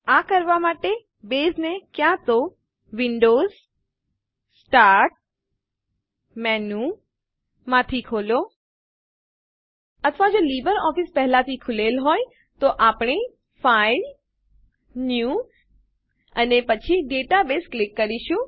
આ કરવાં માટે બેઝને ક્યાં તો વિન્ડોઝ સ્ટાર્ટ menuમાંથી ખોલો અથવા જો લીબરઓફીસ પહેલાથી ખૂલેલ હોય તો આપણે ફાઇલ ન્યૂ અને પછી ડેટાબેઝ ઉપર ક્લિક કરીશું